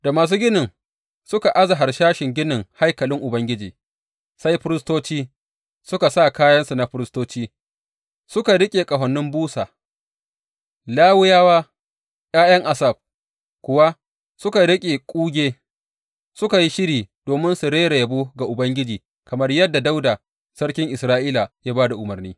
Da masu ginin suka aza harsashin ginin haikalin Ubangiji, sai firistoci suka sa kayansu na firistoci suka riƙe ƙahonin busa, Lawiyawa ’ya’yan Asaf kuwa suka riƙe kuge, suka yi shiri domin su rera yabo ga Ubangiji kamar yadda Dawuda Sarkin Isra’ila ya ba da umarni.